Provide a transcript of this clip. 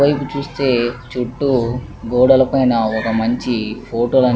పైకి చూస్తే చుట్టూ గోడల పైన ఒక మంచి ఫోటో లు --